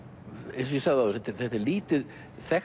eins og ég sagði áður þetta er lítið þekkt